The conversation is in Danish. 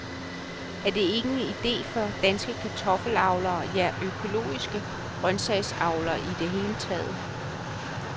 Er det ikke en idé for danske kartoffelavlere, ja økologiske grøntsagsavlere i det hele taget?